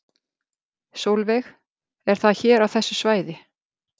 Sólveig: Er það hér á þessu svæði?